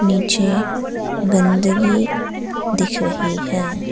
नीचे गंदगी दिख रही है।